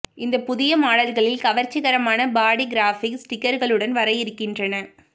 இந்த புதிய மாடல்களில் கவர்ச்சிகரமான பாடி கிராஃபிக்ஸ் ஸ்டிக்கர்களுடன் வர இருக்கின்றன